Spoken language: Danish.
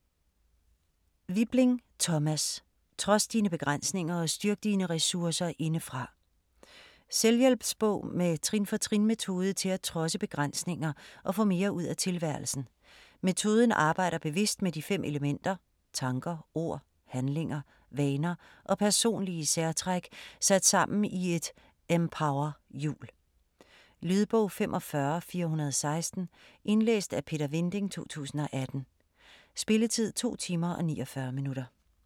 Wibling, Thomas: Trods dine begrænsninger og styrk dine ressourcer indefra Selvhjælpsbog med trin-for-trin metode til at trodse begrænsninger og få mere ud af tilværelsen. Metoden arbejder bevidst med de 5 elementer: tanker, ord, handlinger, vaner og personlige særtræk sat sammen i et "empowerhjul". Lydbog 45416 Indlæst af Peter Vinding, 2018. Spilletid: 2 timer, 49 minutter.